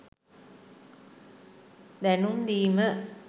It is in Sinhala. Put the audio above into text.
දැනුම් දීම